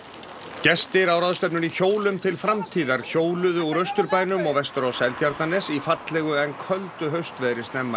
gestir á ráðstefnunni hjólum til framtíðar hjóluðu úr Austurbænum og vestur á Seltjarnarnes í fallegu en köldu haustveðri snemma í